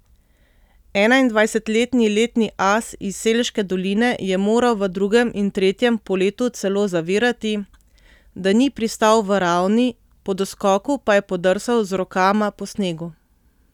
Enaindvajsetletni letni as iz Selške doline je moral v drugem in tretjem poletu celo zavirati, da ni pristal v ravni, po doskoku pa je podrsal z rokama po snegu.